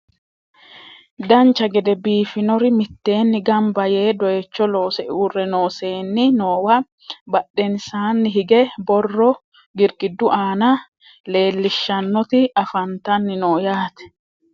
dancha gede biifinori mitteenni ganba yee doyiicho loose uurre noo seenni noowa badhesnsaanni hige borro girgiddu aana leellishshannoti afantanni no yaate